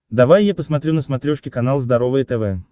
давай я посмотрю на смотрешке канал здоровое тв